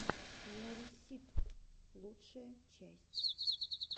миарисситв лучшая часть